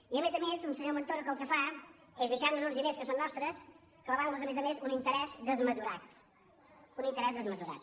i a més a més un senyor montoro que el que fa és deixar nos uns diners que són nostres clavant hi a més a més un interès desmesurat un interès desmesurat